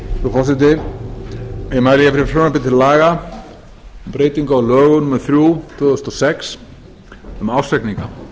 ég mæli hér fyrir frumvarpi til laga um breytingu lögum númer þrjú tvö þúsund og sex um ársreikninga